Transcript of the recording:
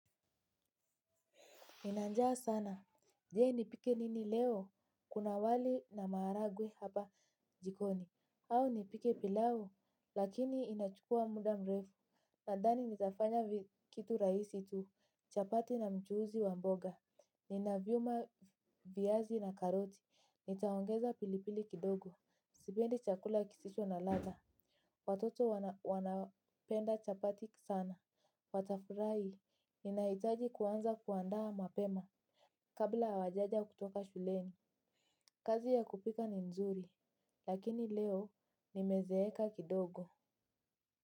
Nina njaa sana je nipike nini leo. Kuna wali na maharagwe hapa jikoni. Au nipike pilau. Lakini inachukua muda mrefu. Nadhani nitafanya kitu rahisi tu. Chapati na mchuzi wa mboga. Nina vyuma viazi na karoti. Nitaongeza pilipili kidogo. Sipendi chakula kisisho na ladha. Watoto wanapenda chapati sana. Watafurahi. Ninahitaji kuanza kuandaa mapema. Kabla hawajaja kutoka shuleni, kazi ya kupika ni nzuri, lakini leo nimezeeka kidogo.